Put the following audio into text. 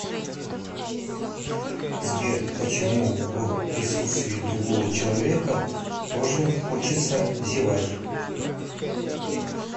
сбер почему в присутствии другого человека тоже хочется зевать